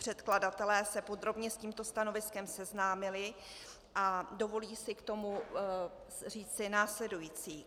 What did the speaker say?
Předkladatelé se podrobně s tímto stanoviskem seznámili a dovolí si k tomu říci následující.